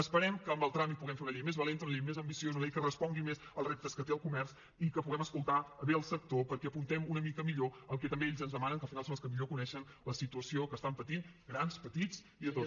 esperem que amb el tràmit puguem fer una llei més valenta una llei més ambiciosa una llei que respongui més als reptes que té el comerç i que puguem escoltar bé al sector perquè apuntem una mica millor el que també ells ens demanen que al final són els que millor coneixen la situació que estan patint grans petits i tots